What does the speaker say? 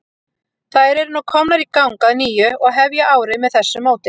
Þær eru nú komnar í gang að nýju og hefja árið með þessu móti.